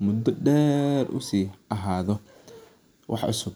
muda deer u si hayo.